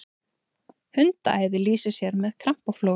hundaæði lýsir sér með krampaflogum